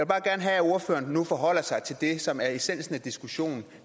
bare gerne have at ordføreren nu forholder sig til det som er essensen af diskussionen